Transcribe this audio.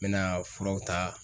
N mɛna furaw ta